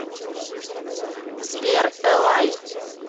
сбер элай